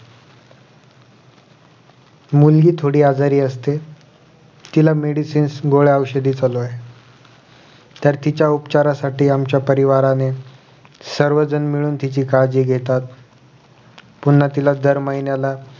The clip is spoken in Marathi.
मुलगी थोडी आजारी असते तिला medicines गोळ्या औषधे चालू आहेत तर तिच्या उचारासाठी आमच्या परिवाराने सर्वजण मिळून तुझी काळजी घेतात पुन्हा तिला दर महिन्याला